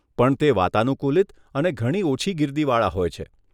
પણ તે વાતાનુકુલિત અને ઘણી ઓછી ગીર્દીવાળા હોય છે.